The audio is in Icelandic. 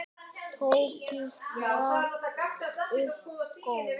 Tóti rak upp gól.